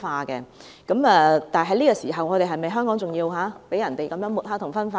在這個時候，香港是否還要被人這樣抹黑及分化嗎？